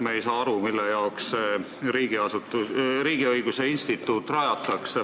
Me ei saa aru, milleks see riigiõiguse instituut rajatakse.